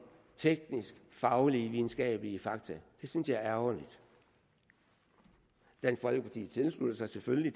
tekniske faglige og videnskabelige fakta det synes jeg er ærgerligt dansk folkeparti tilslutter sig selvfølgelig